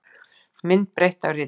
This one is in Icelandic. Mynd breytt af ritstjórn.